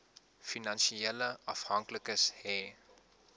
finansiële afhanklikes hê